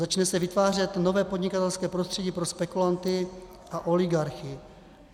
Začne se vytvářet nové podnikatelské prostředí pro spekulanty a oligarchy.